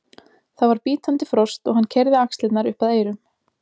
Það var bítandi frost og hann keyrði axlirnar upp að eyrum.